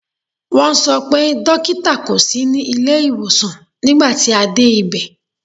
Wọ́n sọ pé dókítà kò sí ní ilé ìwòsàn nígbà tí a dé ibẹ̀.